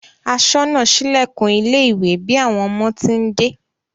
Aṣọ́nà sílẹ̀kùn ilé ìwé bí àwọn ọmọ ti ń dé